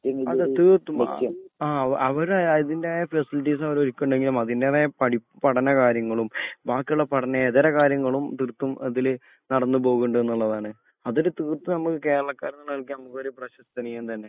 അതേ തീർത്തും മുക്യം. ആ ആഹ് അവര് അതിന്റെതായ പ്രോസീടൻസ് അവര് ഒരുക്കിണിണ്ടെങ്കിലും അതിന്റെതായ പഠിപ്പു പഠന കാര്യങ്ങളും ബാക്കിയുള്ള പഠന എതര കാര്യങ്ങളും തീർത്തും അതില് നടുന്നുപോകുന്നുണ്ട് എന്നുള്ളതാണ്. അതൊരു തീർത്തും നമ്മക്ക് കേരളക്കാരന് എന്നുള്ള നിലക്ക് നമ്മൾക്ക് ഒരു പ്രശസ്തനീയം തന്നെ.